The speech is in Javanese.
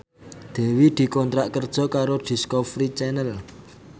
Dewi dikontrak kerja karo Discovery Channel